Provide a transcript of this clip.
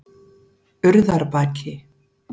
Urðarbaki